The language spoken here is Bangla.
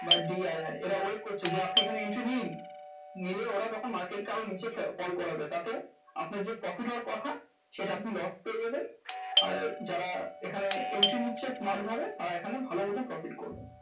বা DII এর wait করছে যে আপনি এখানে entry নিন। নিলে ওরা তখন market কে আরো নিচে fall করাবে। তাতে আপনার যে profit হওয়ার কথা সেটা আপনি loss করে দেবেন আর যারা এখানে entry নিচ্ছে smart ভাবে, তারা এখানে ভালো মতন profit করবে।